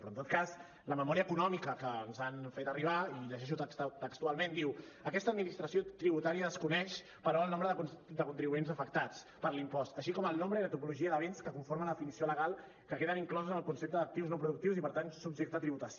però en tot cas la memòria econòmica que ens han fet arribar i llegeixo textualment diu aquesta administració tributària desconeix però el nombre de contribuents afectats per l’impost així com el nombre i la tipologia de béns que conformen la definició legal que queden inclosos en el concepte d’actius no productius i per tant subjecte a tributació